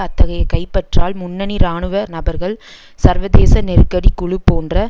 அத்தகைய கைப்பற்றல் முன்னணி இராணுவ நபர்கள் சர்வதேச நெருக்கடி குழு போன்ற